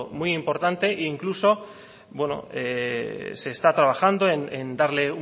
muy importante e incluso se está trabajando en darle